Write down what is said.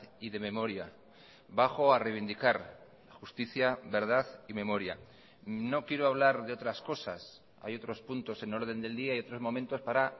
y de memoria bajo a reivindicar justicia verdad y memoria no quiero hablar de otras cosas hay otros puntos en orden del día y otros momentos para